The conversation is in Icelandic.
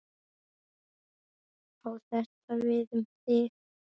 Á þetta við um þig?